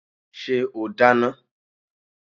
Ṣé o dáná?